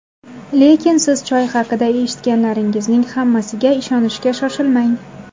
Lekin siz choy haqida eshitganlaringizning hammasiga ishonishga shoshilmang!